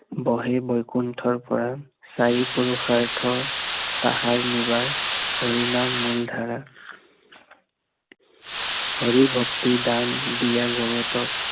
বহে বৈকুণ্ঠৰ পৰা, চাৰি পুৰুষাৰ্থ, তাহাৰ নিবাৰ, হৰি নাম মূল ধাৰা হৰি ভক্তি দান দিয়া জগতক